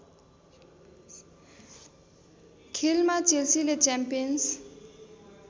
खेलमा चेल्सीले च्याम्पियन्स